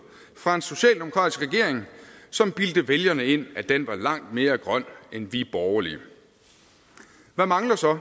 fra en socialdemokratisk regering som bildte vælgerne ind at den var langt mere grøn end vi borgerlige hvad mangler så